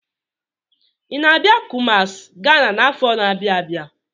Ị na-abịa Kumasi, Ghana n'afọ na-abịa abịa?